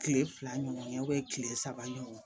Kile fila ɲɔgɔn kile saba ɲɔgɔn